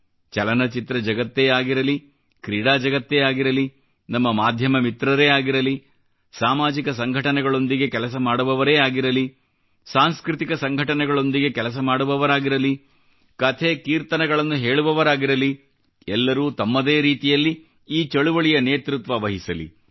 ಚಲನ ಚಿತ್ರ ಜಗತ್ತೇ ಆಗಿರಲಿ ಕ್ರೀಡಾ ಜಗತ್ತೇ ಆಗಿರಲಿ ನಮ್ಮ ಮಾಧ್ಯಮ ಮಿತ್ರರೇ ಆಗಿರಲಿ ಸಾಮಾಜಿಕ ಸಂಘಟನೆಗಳೊಂದಿಗೆ ಕೆಲಸ ಮಾಡುವವರೇ ಆಗಿರಲಿ ಸಾಂಸ್ಕøತಿಕ ಸಂಘಟನೆಗಳೊಂದಿಗೆ ಕೆಲಸ ಮಾಡುವವರಾಗಿರಲಿ ಕಥೆ ಕೀರ್ತನೆಗಳನ್ನು ಹೇಳುವವರಾಗಿರಲಿ ಎಲ್ಲರೂ ತಮ್ಮದೇ ರೀತಿಯಲ್ಲಿ ಈ ಚಳುವಳಿಯ ನೇತೃತ್ವ ವಹಿಸಲಿ